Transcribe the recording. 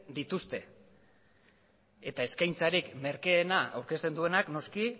dituzte eta eskaintzarik merkeena aurkezten duenari